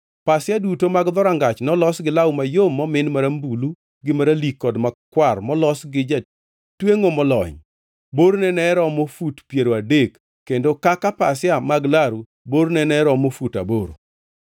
Pasia duto mag dhorangach nolos gi law mayom momin marambulu gi maralik kod makwar molos gi jatwengʼo molony. Borne ne romo fut piero adek kendo kaka pasia mag laru borne ne romo fut aboro,